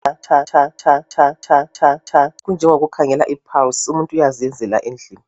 tha tha tha tha kunjengokukhangela i pulse umuntu uyazenzela endlini